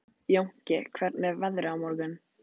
Jónki, hvernig er veðrið á morgun?